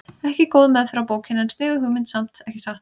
Ekki góð meðferð á bókinni en sniðug hugmynd samt, ekki satt?